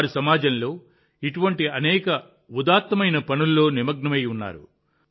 వారు సమాజంలో ఇటువంటి అనేక ఉదాత్తమైన పనుల్లో నిమగ్నమై ఉన్నారు